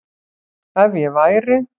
Ef ég væri